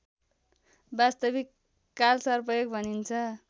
वास्तविक कालसर्पयोग भनिन्छ